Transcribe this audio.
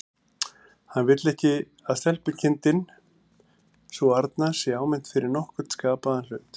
Hann vill ekki að stelpukindin sú arna sé áminnt fyrir nokkurn skapaðan hlut.